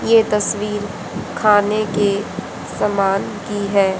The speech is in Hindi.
ये तस्वीर खाने के सामान की है।